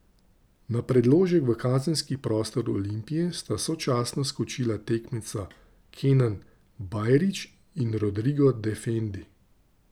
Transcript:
Na predložek v kazenski prostor Olimpije sta sočasno skočila tekmeca Kenan Bajrić in Rodrigo Defendi.